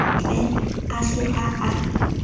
ne a se a a